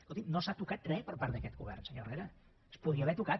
escolti no s’ha tocat res per part d’aquest govern senyor herrera es podria haver tocat